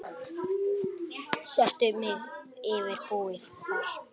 Settu mig yfir búið þar.